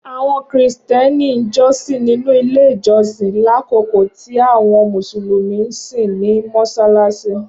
awọn Kristiani jọsin ninu ile ijọsin, lakoko ti awọn Musulumi nsin ni Mossalassi.